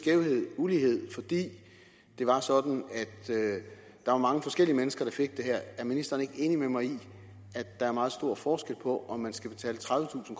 ulighed fordi det var sådan at der var mange forskellige mennesker der fik det her er ministeren ikke enig med mig i at der er meget stor forskel på om man skal betale tredivetusind